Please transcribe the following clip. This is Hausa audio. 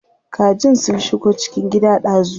Kajin sun shigo cikin gida dazu.